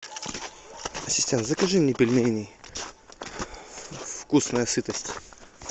ассистент закажи мне пельменей вкусная сытость